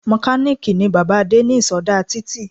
Mokàlìkì ni bàbáa Adé ní ìsodá títì